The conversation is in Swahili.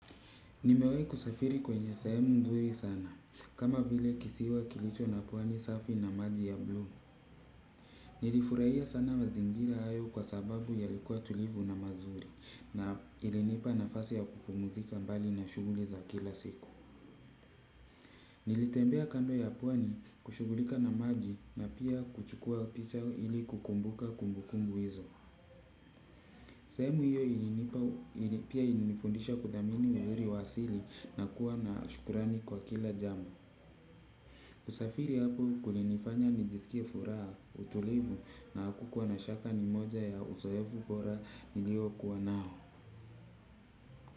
Nimewahi kusafiri kwenye sehemu nzuri sana, kama vile kisiwa kilicho na pwani safi na maji ya blue. Nilifurahia sana mazingira hayo kwa sababu yalikuwa tulivu na mazuri na ilinipa nafasi ya kupumuzika mbali na shughuli za kila siku. Nilitembea kando ya pwani kushughulika na maji na pia kuchukua kisha ili kukumbuka kumbukumbu hizo. Sehemu hiyo ilinipa pia ilinifundisha kuthamini uzuri wa asili na kuwa na shukrani kwa kila jambo. Usafiri hapo kulinifanya nijisikie furaha, utulivu na hakukuwa na shaka ni moja ya uzoefu bora niliokuwa nao.